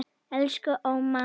Elsku Óma.